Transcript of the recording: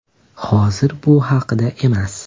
Hozir bu haqda emas.